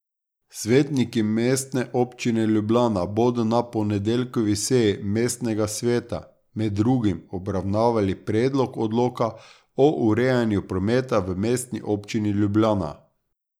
Svetniki Mestne občine Ljubljana bodo na ponedeljkovi seji mestnega sveta med drugim obravnavali Predlog odloka o urejanju prometa v Mestni občini Ljubljana.